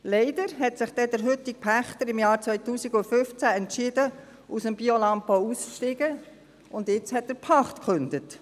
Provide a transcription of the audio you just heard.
Leider hat sich der heutige Pächter dann im Jahr 2015 entschieden, aus dem Biolandbau auszusteigen, und jetzt hat er die Pacht gekündigt.